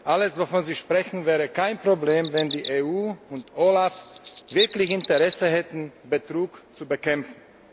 Alles, wovon Sie sprechen, wäre kein Problem, wenn die EU und OLAF wirklich Interesse hätten, Betrug zu bekämpfen.